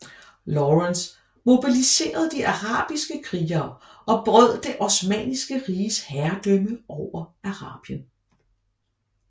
Lawrence mobiliserede de arabiske krigere og brød det osmanniske riges herredømme over Arabien